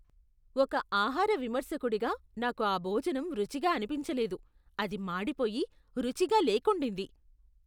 ఒక ఆహార విమర్శకుడిగా నాకు ఆ భోజనం రుచిగా అనిపించలేదు. అది మాడిపోయి, రుచిగా లేకుండింది.